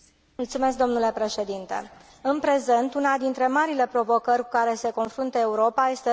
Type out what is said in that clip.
În prezent, una dintre marile provocări cu care se confruntă Europa este rata șomajului în rândul tinerilor.